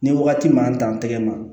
Ni wagati man dan tɛgɛ ma